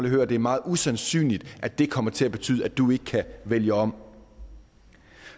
høre det er meget usandsynligt at det kommer til at betyde at du ikke kan vælge om